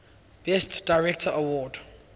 best director award